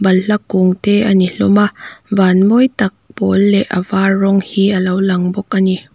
balhla kung te a ni hlawm a van mawi tak pawl leh a var rawng hi a lo lang bawk a ni.